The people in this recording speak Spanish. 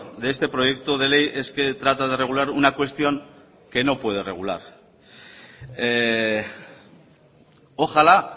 de este proyecto de ley es que trata de regular una cuestión que no puede regular ojalá